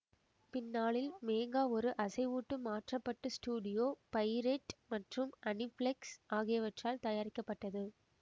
பின்னாளில் மேங்கா ஒரு அசைவூட்டுப் மாற்ற பட்டு ஸ்டுடியோ பையிரெட் மற்றும் அனிப்ளெக்ஸ் ஆகியவற்றால தயாரிக்கப்பட்டது